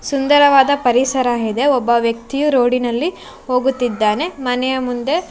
ಸುಂದರವಾದ ಪರಿಸರಹಿದೆ ಒಬ್ಬ ವ್ಯಕ್ತಿಯು ರೋಡಿ ನಲ್ಲಿ ಹೋಗುತ್ತಿದ್ದಾನೆ ಮನೆಯ ಮುಂದೆ--